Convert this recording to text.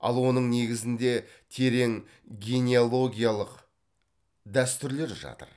ал оның негізінде терең генеалогиялық дәстүрлер жатыр